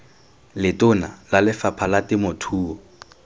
letona la lefapha la temothuo